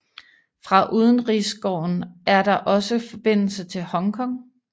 Fra udenrigsgården er der også forbindelse til Hong Kong